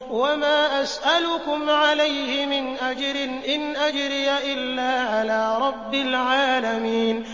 وَمَا أَسْأَلُكُمْ عَلَيْهِ مِنْ أَجْرٍ ۖ إِنْ أَجْرِيَ إِلَّا عَلَىٰ رَبِّ الْعَالَمِينَ